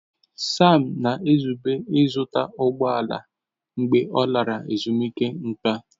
Sam na-ezube ịzụta ụgbọ ala mgbe ọ lara ezumike nká.